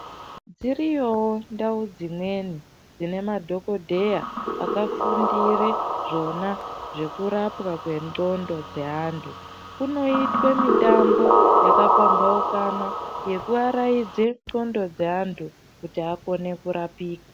Dziriyowo ndau dzimweni dzine madhokodheya aka fundire zvona zveku rapwa kwe ndxondo dze antu kunoitwe mitambo yaka pambaukana yeku araidze ndxondo dze antu kuti akone kurapika.